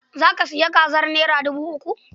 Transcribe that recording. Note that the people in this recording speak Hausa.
Za ka sayi kazar naira dubu uku?